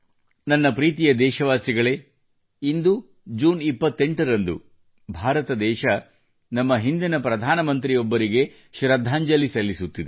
ನನ್ನ ಪ್ರೀತಿಯ ದೇಶವಾಸಿಗಳೇ ಇಂದು ಜೂನ್ 28ರಂದು ಭಾರತ ದೇಶವು ನಮ್ಮ ಹಿಂದಿನ ಪ್ರಧಾನಮಂತ್ರಿಯೊಬ್ಬರಿಗೆ ಶ್ರದ್ಧಾಂಜಲಿ ಸಲ್ಲಿಸುತ್ತಿದೆ